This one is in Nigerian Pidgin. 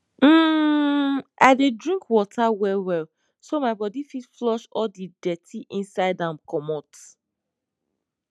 hmmmi dey drink water well well so my bodi fit flush all the dirty inside am comot